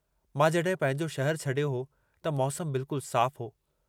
मां जॾहिं पंहिंजो शहरु छॾियो हो त मौसम बिल्कुल साफ़ हो।